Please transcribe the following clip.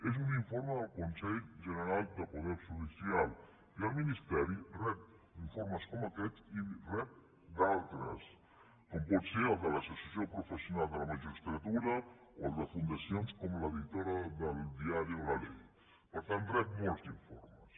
és un informe del consell general del poder judicial i el ministeri rep informes com aquest i en rep d’altres com pot ser el de l’associació professional de la magistratura o el de fundacions com l’editora del diari la leyformes